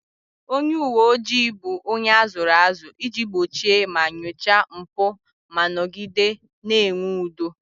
Onye uwe ojii bụ onye a zụrụ azụ iji gbochie ma nyochaa mpụ ma nọgide na-enwe udo